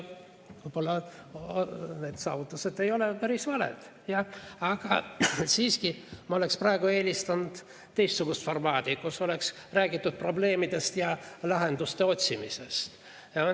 Võib-olla need saavutused ei ole päris valed, aga siiski ma oleksin praegu eelistanud teistsugust formaati,, kus oleks räägitud probleemidest ja lahenduste otsimisest.